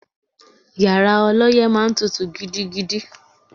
Yàrá ọlọ́yẹ́ máa ń tutù gidigidi